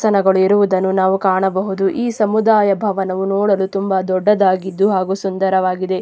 ಜನಗಳು ಇರುವುದನ್ನು ನಾವು ಕಾಣಬಹುದು ಈ ಸಮುದಾಯ ಭವನವು ನೋಡಲು ತುಂಬಾ ದೊಡ್ಡದಾಗಿದ್ದು ಹಾಗೂ ಸುಂದರಾವಾಗಿದೆ.